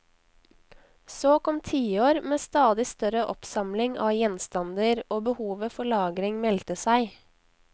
Så kom tiår med stadig større oppsamling av gjenstander, og behovet for lagring meldte seg.